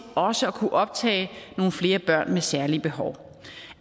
også at kunne optage nogle flere børn med særlige behov på